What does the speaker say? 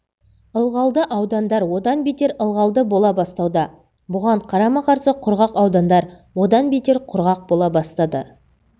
ылғалды аудандар одан бетер ылғалды бола бастауда бұған қарама-қарсы құрғақ аудандар одан бетер құрғақ бола бастады